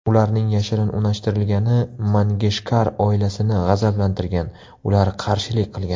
Ularning yashirin unashtirilgani Mangeshkar oilasini g‘azablantirgan, ular qarshilik qilgan.